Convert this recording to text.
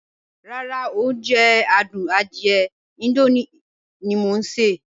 Ràrá, o jẹ̀ àdùn àdìẹ̀ Indomie tí mọ̀ n ṣẹ.